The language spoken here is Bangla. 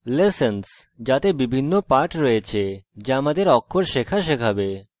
lessons – যাতে বিভিন্ন পাঠ রয়েছে যা আমাদের অক্ষর শেখা শেখাবে